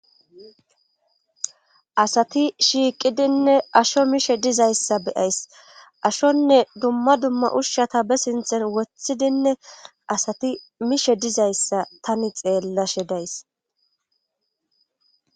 asati shiiqidinne asho mishe dizayssa beyays ashonne dumma dumma ushshata be sinthen wothidinne asati mishe dizayssa tani xeellashe days